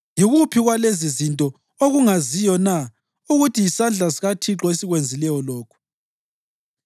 Yikuphi kwalezizinto okungaziyo na ukuthi yisandla sikaThixo esikwenzileyo lokhu?